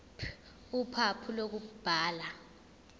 ph uphawu lokubhala